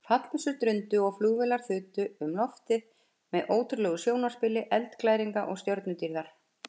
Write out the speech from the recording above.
Fallbyssur drundu og flugeldar þutu um loftið með ótrúlegu sjónarspili eldglæringa og stjörnudýrðar.